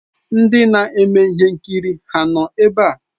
Ndị na-eme ihe nkiri ha nọ ebe a?